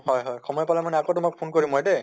হয় হয় সময় পালে মানে আকৌ তোমাক phone কৰিম মই দে